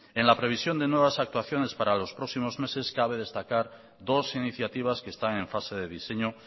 en la previsión de nuevas actuaciones para los próximos meses cabe destacar dos iniciativas que están en fase de diseño